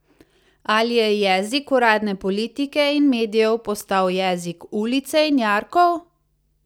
Ali je jezik uradne politike in medijev postal jezik ulice in jarkov?